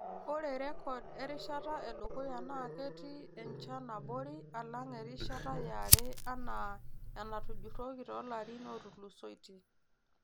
Ore rrekod erishata edukuya naa ketii enchan abori alang erishata yare anaa enatujurroki too larin ootulusoitie.